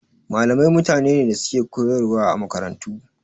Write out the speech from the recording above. Malamai mutane ne da suke koyarwa a makarantu.